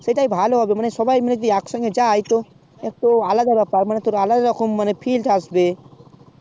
সেটাই ভালো হবে মানে সবাই মেলে যদি একসঙ্গে যাই তো তো আলাদা ব্যাপার মানে তোর আলাদা রকম মানে fill থাকবে